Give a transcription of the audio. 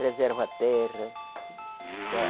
Preserva a terra.